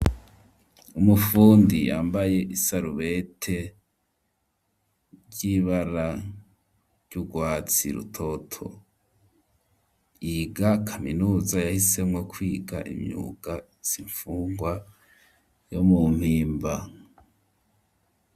Umufundi yambaye isarubete ry'ibara ry'urwatsi rutoto yiga kaminuza yahisemwo kwiga imyuka izimfungwa yo mu mpimba.